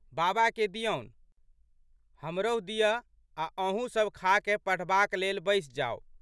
बाबाके दिअनु, हमरहु दिअऽ आ' अहूँसब खाकए पढ़बाक लेल बैसि जाउ।